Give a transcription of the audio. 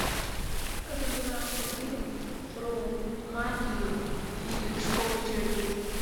как назывался фильм про магию и школу чародейства